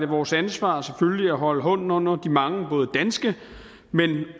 vores ansvar at holde hånden under de mange både danske